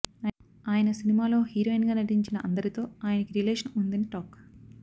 ఆయన సినిమాలో హీరోయిన్ గా నటించిన అందరితో ఆయనకి రిలేషన్ ఉందని టాక్